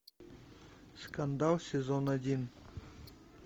скандал сезон один